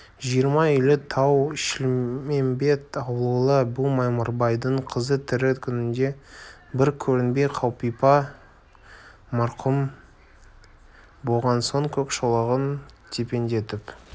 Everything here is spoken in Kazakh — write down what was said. жиырма үйлі тау-шілмембет ауылы бұл мамырбайдың қызы тірі күнінде бір көрінбей қалипа марқұм болған соң көк шолағын тепеңдетіп